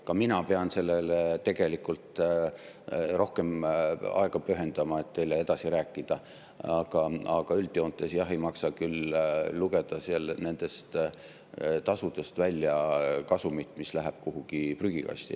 Ka mina pean sellele tegelikult rohkem aega pühendama, et teile edasi rääkida, aga üldjoontes ei maksa küll lugeda nendest tasudest välja kasumit, mis läheb kuhugi prügikasti.